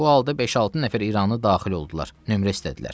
Bu halda beş-altı nəfər İranlı daxil oldular, nömrə istədilər.